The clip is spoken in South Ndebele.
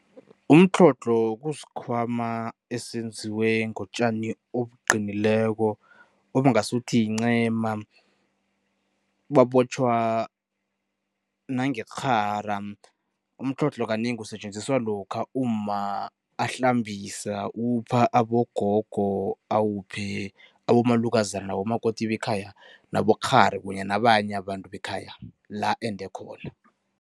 Umtlhodlho kusikhwama esenziwe ngotjani obuqinileko obungasuthi yincema, babotjhwa nangerhara. Umtlhodlho kanengi usetjenziswa lokha umma ahlambisa, upha abogogo, awuphe abomalukazana, abomakoti bekhaya nabokghari kunye nabanye abantu bekhaya, la ende khona.